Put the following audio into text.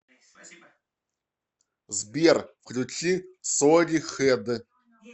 сбер включи соли хэд